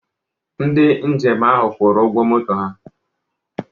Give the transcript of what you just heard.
Ndị njem ahụ kwụrụ ụgwọ moto ha.